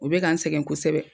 U bɛ ka n sɛgɛ kosɛbɛ